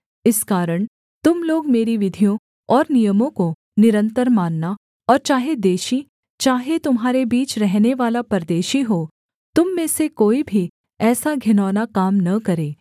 इस कारण तुम लोग मेरी विधियों और नियमों को निरन्तर मानना और चाहे देशी चाहे तुम्हारे बीच रहनेवाला परदेशी हो तुम में से कोई भी ऐसा घिनौना काम न करे